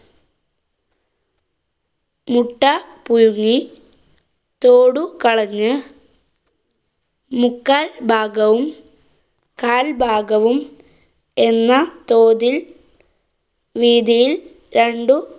മുട്ട പുഴുങ്ങി തോട് കളഞ്ഞ് മുക്കാല്‍ഭാഗവും കാൽ ഭാഗവും എന്ന തോതില്‍ വീതിയില്‍ രണ്ടു